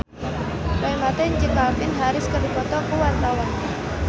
Roy Marten jeung Calvin Harris keur dipoto ku wartawan